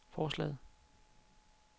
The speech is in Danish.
forslaget